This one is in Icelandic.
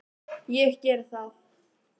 Ég geri það!